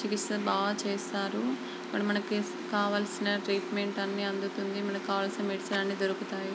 చికిత్స బాగా చేసారు. మరి మనకి కావాల్సిన ట్రీట్మెంట్ అనీ అందుతుంది. మన కావలసిన మెడిసిన్ అనీ దొరుకుతుంది.